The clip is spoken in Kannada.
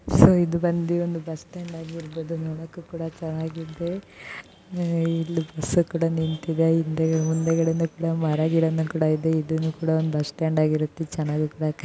ಸೊ ಇದು ಬಂದು ಬಸ್ ಸ್ಟ್ಯಾಂಡ್ ಆಗಿದೆ ನೋಡೋಕು ಕೂಡ ಚೆನ್ನಾಗಿದೆ ಮತ್ತೆ ಬಸ್ ಗಳು ನಿಂತಿದೆ ಮತ್ತೆ ಹಿಂದಗಡೆ ಇದೆ.